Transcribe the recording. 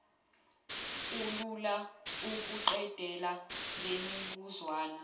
kulula ukuqedela lemibuzwana